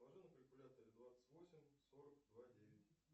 сложи на калькуляторе двадцать восемь сорок два девять